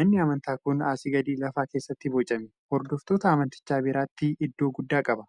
Manni amantaa kun asii gadi lafa keessatti bocame. Hordoftoota amantichaa biratti iddoo guddaa qaba.